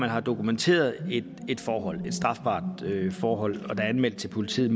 man har dokumenteret et strafbart forhold der er anmeldt til politiet